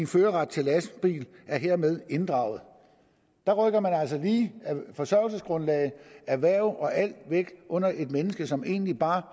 førerret til lastbil er hermed inddraget der rykker man altså lige forsørgelsesgrundlag erhverv og alt væk under et menneske som egentlig bare